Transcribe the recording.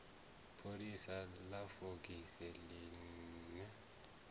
pholisa ḽa fogisi ḽi ne